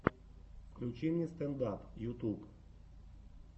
включи мне стэнд ап ютьюб